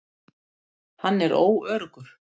Hann er óöruggur.